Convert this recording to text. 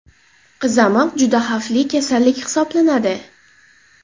Qizamiq juda xavfli kasallik hisoblanadi.